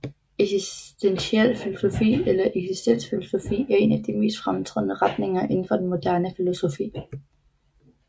Eksistentiel filosofi eller eksistensfilosofi er en af de mest fremtrædende retninger inden for den moderne filosofi